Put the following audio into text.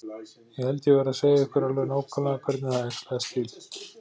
Ég held ég verði að segja ykkur alveg nákvæmlega hvernig það æxlaðist til.